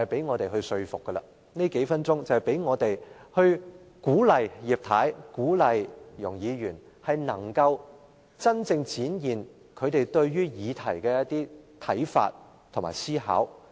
我希望藉這數分鐘發言，嘗試說服及鼓勵葉太和容議員，提出她們對議題的真正看法和思考。